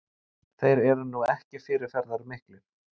Þeir eru nú ekki fyrirferðarmiklir